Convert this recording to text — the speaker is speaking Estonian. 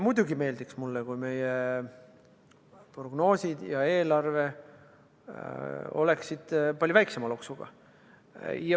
Muidugi meeldiks mulle, kui meie prognoosid ja eelarve oleksid palju väiksema loksuga.